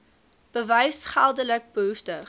bewys geldelik behoeftig